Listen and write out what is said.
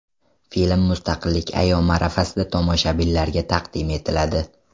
Film Mustaqillik ayyomi arafasida tomoshabinlarga taqdim etiladi.